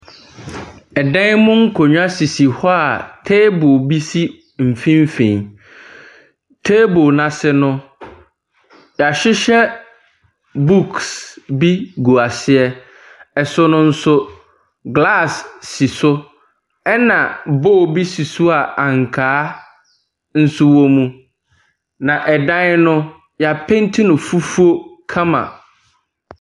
Dan mu akonnwa sisi hɔ a table bi si mfimfin. Table no ase no, yɛahyehyɛ books bi gu aseɛ. So no nso, glass si so, ɛnna bowl bi si so a ankaa wɔ mu, na dan no, wɔapenti no fufuo kama.